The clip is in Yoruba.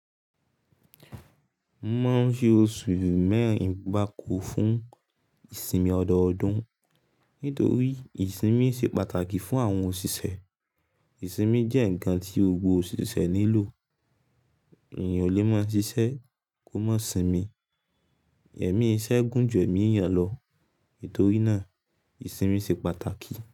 Won maa ń fi oṣù mẹ́rin gbáko fún ìsinmi ọdọọdún. Nítorí ìsinmi ṣe pàtàkì fún àwọn òṣìṣẹ́. Ìsinmi jẹ́ ǹkan tí gbogbo òṣìṣẹ́ nílò. Ènìyàn ò lè máa ṣiṣẹ́ kó má sinmi. Ẹmí iṣẹ́ gùn ju ẹ̀mí eyànlọ. Nítorí náà, ìsinmi ṣe pàtàkì.